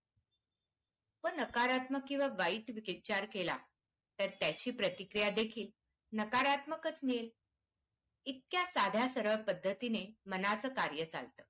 आपण नकारात्मक किंवा वाईट विचार केला तर त्याची प्रतिक्रिया देखील नकारात्मकच मिळते इतक्या साध्या सरळ पद्धतीने मना चं कार्य चालतं.